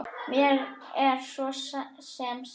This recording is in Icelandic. Mér er svo sem sama.